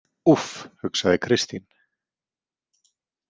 Úff, hugsaði Kristín.